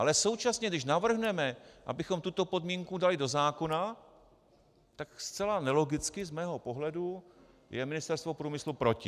Ale současně, když navrhneme, abychom tuto podmínku dali do zákona, tak zcela nelogicky z mého pohledu je Ministerstvo průmyslu proti.